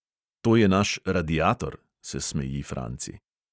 "To je naš radiator," se smeji franci.